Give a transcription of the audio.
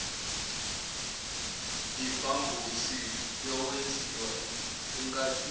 impambosi yokwenziwa enkathini